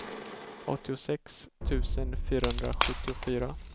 åttiosex tusen fyrahundrasjuttiofyra